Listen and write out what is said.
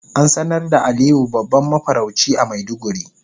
An sanar da Aliyu babban mafarauci a maiduguri.